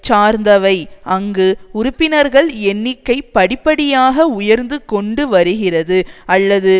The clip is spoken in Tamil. சார்ந்தவை அங்கு உறுப்பினர்கள் எண்ணிக்கை படிப்படியாக உயர்ந்து கொண்டு வருகிறது அல்லது